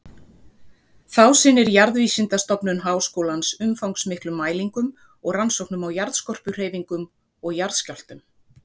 Þá sinnir Jarðvísindastofnun Háskólans umfangsmiklum mælingum og rannsóknum á jarðskorpuhreyfingum og jarðskjálftum.